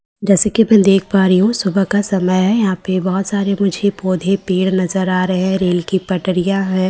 जैसे कि मैं देख पा रही हूं सुबह का समय है यहां पे बहुत सारे मुझे पौधे-पेड़ नजर आ रहे हैं रेल की पटरियां हैं ।